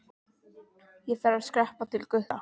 Ég þarf að skreppa til Gutta.